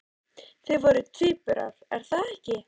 Þið voruð tvíburar, er það ekki?